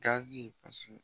Gazi ka